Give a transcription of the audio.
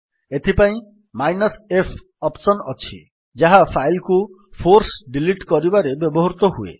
ଏଥିପାଇଁ -f option ଅଛି ଯାହା ଫାଇଲ୍ କୁ ଫୋର୍ସ ଡିଲିଟ୍ କରିବାରେ ବ୍ୟବହୃତ ହୁଏ